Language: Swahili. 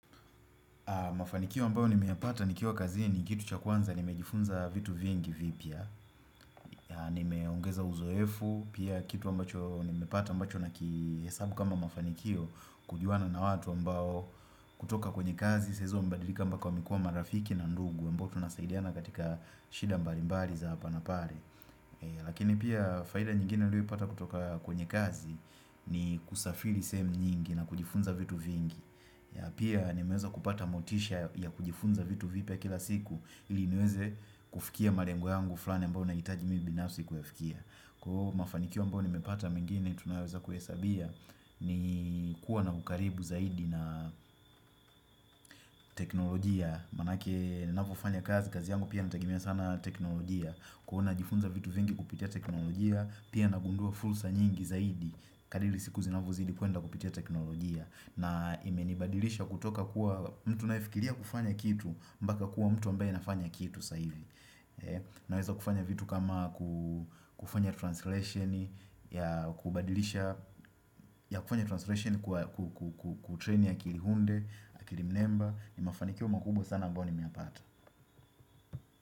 Mafanikio ambayo nimeyapata nikiwa kazini, kitu cha kwanza, nimejifunza vitu vingi vipya, nimeongeza uzoefu, pia kitu ambacho nimepata ambacho nakihesabu kama mafanikio, kujuana na watu ambao kutoka kwenye kazi, saa hizo wamebadilika mpaka wamekuwa marafiki na ndugu, ambao tunasaidiana katika shida mbalimbali za hapa na pale. Lakini pia faida nyingine nilioipata kutoka kwenye kazi, ni kusafiri sehemu nyingi na kujifunza vitu vingi Pia nimeweza kupata motisha ya kujifunza vitu vipya kila siku ili niweze kufikia malengo yangu fulani ambao nahitaji mimi binafsi kuyafikia. Kwa hiyo mafanikio ambao nimepata mengine tunaweza kuhesabia, ni kuwa na ukaribu zaidi na teknolojia, maanake ninavyofanya kazi, kazi yangu pia inatagimia sana teknolojia Huwa najifunza vitu vingi kupitia teknolojia. Pia nagundua fursa nyingi zaidi, kadiri siku zinavyozidi kuenda kupitia teknolojia. Na imenibadilisha kutoka kuwa mtu ninayefikiria kufanya kitu, mpaka kuwa mtu ambaye nafanya kitu saa hivi Naweza kufanya vitu kama kufanya translation ya kubadili ya kufanya translation kutreni akili hunde, akili mnemba. Ni mafanikio makubwa sana ambayo nimeyapata.